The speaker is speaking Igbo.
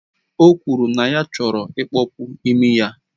O kwuru na ya chọrọ ịkpọpu imi ya